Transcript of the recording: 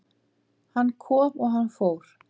Hann kom og hann fór